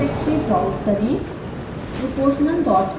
proportional directory browse करें